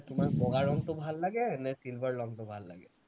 তোমাক বগা ৰঙটো ভাল লাগে নে silver ৰঙটো ভাল লাগে